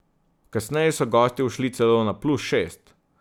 Kasneje so gostje ušli celo na plus šest.